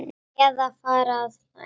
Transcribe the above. Eða fara að hlæja.